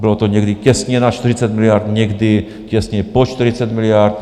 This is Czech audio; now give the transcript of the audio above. Bylo to někdy těsně nad 40 miliard, někdy těsně pod 40 miliard.